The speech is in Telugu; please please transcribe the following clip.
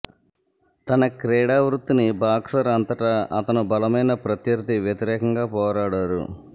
తన క్రీడా వృత్తిని బాక్సర్ అంతటా అతను బలమైన ప్రత్యర్థి వ్యతిరేకంగా పోరాడారు